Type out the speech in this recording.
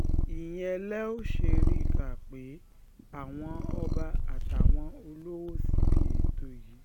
ìyẹn lẹ ò ṣe rí i kà pé àwọn ọba àtàwọn olówó síbi ètò yìí